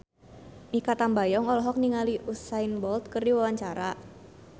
Mikha Tambayong olohok ningali Usain Bolt keur diwawancara